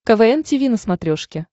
квн тиви на смотрешке